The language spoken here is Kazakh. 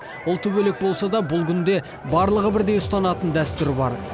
ұлты бөлек болса да бұл күнде барлығы бірдей ұстанатын дәстүр бар